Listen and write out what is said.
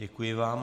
Děkuji vám.